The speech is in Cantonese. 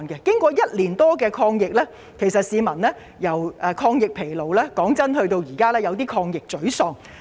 經過1年多的抗疫，市民已由"抗疫疲勞"變成現時的"抗疫沮喪"。